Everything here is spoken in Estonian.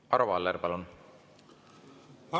Arvo Aller, palun!